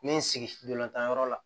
N bɛ n sigi ntolan tan yɔrɔ la